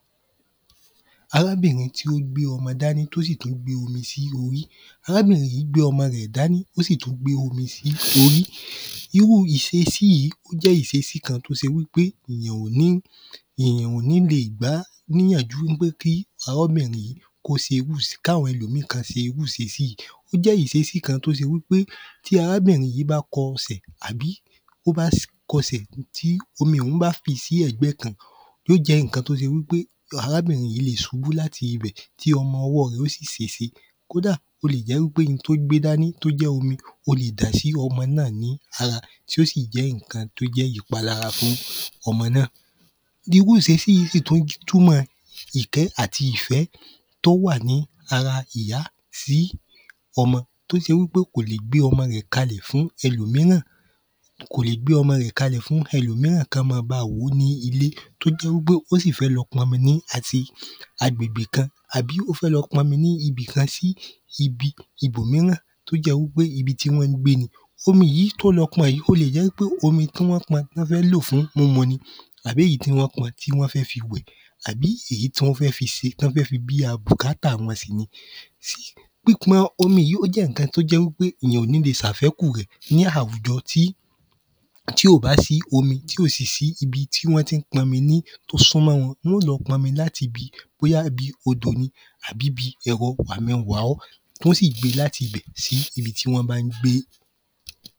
Arábìnrin tí ó gbé ọmọ dání tí ó sí tú gbé omi s’órí Arábìnrin yìí gbé ọmọ rẹ̀ dání tí ó sí tú gbé omi s’órí Irú ìṣesí yí ó jẹ́ ìsesí kan t’ó jẹ́ wí pé èyàn ò ní le è gbá n’íyànjú ń pé kí arábìnrin yìí k’áwọn ẹlòmíì kán se irú ìsesí yìí Ó jẹ́ ìsesí kan t’ó se wí pé tí arábìnrin yìí bá kọ sẹ̀, tí omi ọ̀hún bá fì sí ẹ̀gbẹ́ kan yó jẹ́ ǹkan t’ó se wí pé arábìnrin yìí lè subú l’áti ibẹ̀ tí ọmọ ọwọ́ rẹ̀ ó sì sèse. Kódà, o lè jẹ́ wí pé un t’ó gbé dání t’ó jẹ́ omi ó le dà sí ọmọ náà ní ara tí ó sì jẹ́ ǹkan t’ó jẹ́ ìpalára fún ọmọ náà. Irú ìsesí yí tú túmọ̀ ìkẹ́ àti ìfẹ́ t’ó wà ní ara ìya sí ọmọ t’ó se wí pé kò lè gbé ọmọ rẹ̀ kalẹ̀ fún ẹlòmíràn. Kò lè gbé ọmọ rẹ̀ kalẹ̀ fún ẹlòmíràn kọ́ ma ba wòó ní ilé. t’ó jẹ́ wí pé ó sì fẹ́ lọ p’ọmi ní àti agbègbe kan àbí ó fẹ́ lọ p’ọmi ní ibì kan sí ibi ibòmíràn t’ó jẹ wí pé ibi tí wọ́n gbé ni. Omi yìí t’ó lo pọn yìí ó le è jẹ́ wí pé omi tí wọ́n pọn wọ́n fẹ́ lò fún múmu ni àbí èyí tí wọ́n pọn tí wọ́n fẹ́ fi wẹ̀ àbí èyí tí wọ́n fẹ́ fi se tí wọ́n fẹ́ fi bíá bùkátà wọn sí ni Pípọn omi yí ó jẹ́ ǹkan t’ó jẹ́ wí pé ìyàn ò ní le sàfekù rẹ̀ ní àwùjọ tí tí ò bá sí omi tí ò sì sí ibi tí wọ́n tí ń pọn mi tí t’ó súnmọ́ wọn yó lọ pọnmi l’áti bi bóyá bi odò ni àbí bi ẹ̀rọ-wàmi-n-wà-ọ́ tí ó sì gbe l’áti bẹ̀ sí ibi tí wọ́n bá ń gbe.